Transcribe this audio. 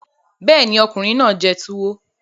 Bẹ́ẹ̀ ni, ọkùnrin náà jẹ tuwo